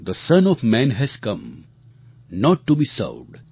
the son of man has come not to be served